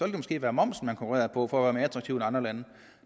det måske være momsen man konkurrerede på for at være mere attraktiv end andre lande